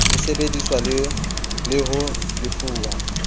e sebeditswe le ho lefuwa